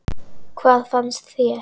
Hvað fannst þér?